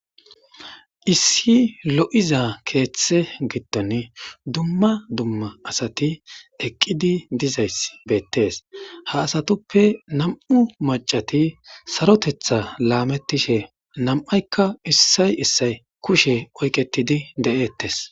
issi lo7iza keeththe giddon dumma dumma asati eqqidi dizays beettees ha asatuppe nam7u macati sarotetha laamettishe nam7aykka issay issay kushe oyqetidi de7eettes